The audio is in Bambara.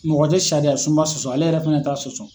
Mɔgɔ te sariya sunba sɔsɔ, ale yɛrɛ fɛnɛ t'a sɔsɔ.